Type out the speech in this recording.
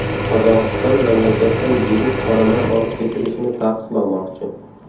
Qozog‘iston mamlakatdan yirik qoramol olib ketilishini taqiqlamoqchi.